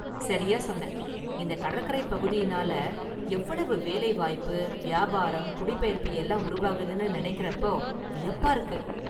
சரியா சொன்ன​! இந்த​ கடற்கரைப் பகுதியினால எவ்வளவு வேலைவாய்ப்பு, வியாபாரம், குடிபெயர்ப்பு எல்லாம் உருவாகுதுன்னு நெனைக்கறப்போ வியப்பா இருக்கு.